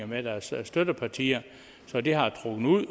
med deres støttepartier så det har trukket ud